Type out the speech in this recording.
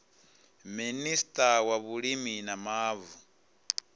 minista wa vhulimi na mavu